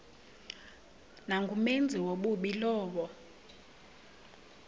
nangumenzi wobubi lowo